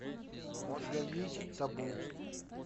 у тебя есть табу